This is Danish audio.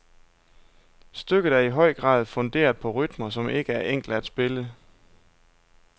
Stykket er i høj grad funderet på rytmer, som ikke er enkle at spille.